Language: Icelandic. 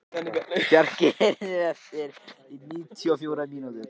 Bjarki, heyrðu í mér eftir níutíu og fjórar mínútur.